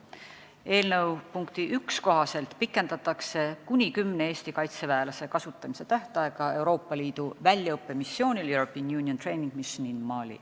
Eelnõu punkti 1 kohaselt pikendatakse kuni kümne Eesti kaitseväelase kasutamise tähtaega Malis Euroopa Liidu väljaõppemissioonil .